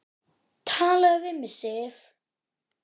TALAÐU VIÐ MIG, SIF!